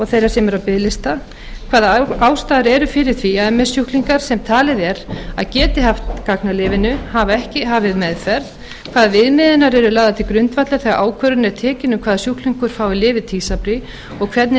þeirra sem eru á biðlista þriðja hvaða ástæður eru fyrir því að ms sjúklingar sem talið er að geti haft gagn af lyfinu hafa ekki hafið meðferð fjórða hvaða viðmiðanir eru lagðar til grundvallar þegar ákvörðun er tekin um hvaða sjúklingar fá lyfið tysabri og hvernig er